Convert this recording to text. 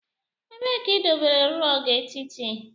Ebee ka idobere rog etiti?